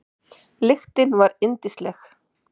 Lyktin var yndisleg.